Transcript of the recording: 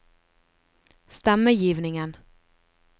stemmegivningen